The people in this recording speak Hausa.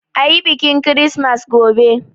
Ayi biƙin kirismas gobe!